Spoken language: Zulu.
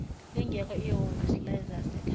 lingekho ihhovisi lezasekhaya